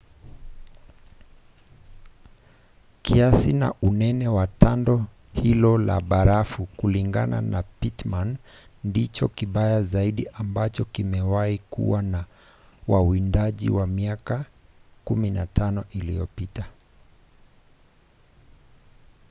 kiasi na unene wa tando hilo la barafu kulingana na pittman ndicho kibaya zaidi ambacho kimewahi kuwa kwa wawindaji kwa miaka 15 iliyopita